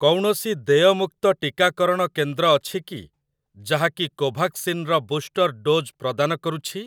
କୌଣସି ଦେୟମୁକ୍ତ ଟିକାକରଣ କେନ୍ଦ୍ର ଅଛି କି ଯାହାକି କୋଭାକ୍ସିନ୍ ର ବୁଷ୍ଟର ଡୋଜ୍ ପ୍ରଦାନ କରୁଛି ?